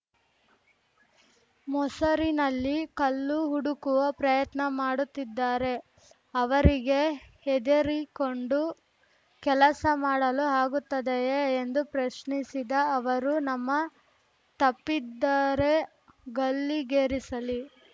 ಮೊಸರಿನಲ್ಲಿ ಕಲ್ಲು ಹುಡುಕುವ ಪ್ರಯತ್ನ ಮಾಡುತ್ತಿದ್ದಾರೆ ಅವರಿಗೆ ಹೆದರಿಕೊಂಡು ಕೆಲಸ ಮಾಡಲು ಆಗುತ್ತದೆಯೇ ಎಂದು ಪ್ರಶ್ನಿಸಿದ ಅವರು ನಮ್ಮ ತಪ್ಪಿದ್ದರೆ ಗಲ್ಲಿಗೇರಿಸಲಿ